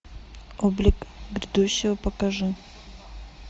облик грядущего покажи